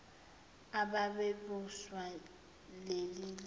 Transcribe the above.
ababe busa lelizwe